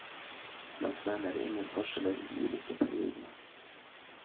Blant menn er det ingen forskjeller i de ulike periodene.